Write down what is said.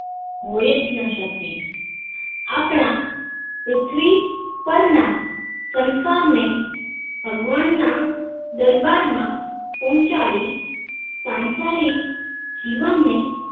હોય જ ન શકે આપણા પૃથ્વી પર ના સંસાર ને ભગવાન ના દરબાર માં પહુંચાડી સાંસારિક જીવન ને